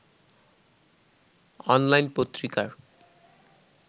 online পত্রিকার